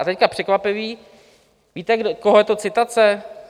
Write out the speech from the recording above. A teď překvapivé - víte, koho je to citace?